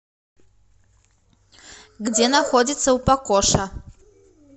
где находится упакоша